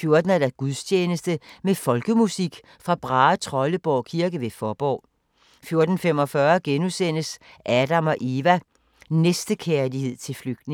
14:00: Gudstjeneste med folkemusik fra Brahetrolleborg kirke ved Fåborg 14:45: Adam & Eva: Næstekærlighed til flygtninge *